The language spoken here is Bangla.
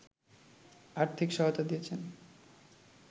আর্থিক সহায়তা দিয়েছে